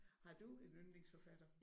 Har du en yndlingsforfatter?